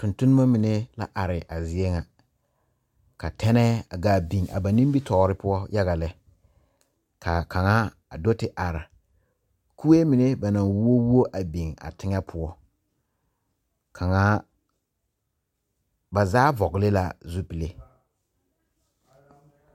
Tontonma mene a are a zie ŋa. Ka tɛneɛ a gaa biŋ a ba nimitoore poʊ yaga lɛ. Ka a kanga a do te are kue mene ba na wuo wuo a biŋ a teŋe poʊ. Kanga, ba zaa vogle la zupule